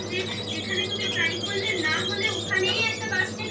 তুমি try করলে না হলে ওখানেই একটা basket থাকে